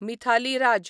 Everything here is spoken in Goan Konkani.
मिथाली राज